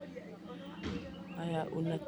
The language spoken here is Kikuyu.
ndagũthaitha reke menye mũthenya wakwa wa gũciarwo